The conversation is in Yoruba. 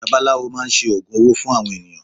Bàbá aláwò máa ń ṣe Ògùn owó fún àwọn ènìyàn.